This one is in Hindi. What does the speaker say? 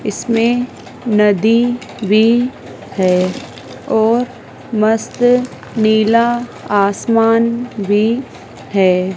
इसमें नदी भी है और मस्त नीला आसमान भी है।